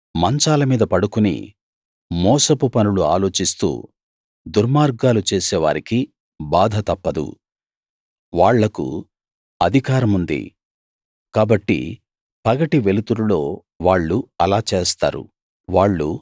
మంచాల మీద పడుకుని మోసపు పనులు ఆలోచిస్తూ దుర్మార్గాలు చేసేవారికి బాధ తప్పదు వాళ్లకు అధికారముంది కాబట్టి పగటి వెలుతురులో వాళ్ళు అలా చేస్తారు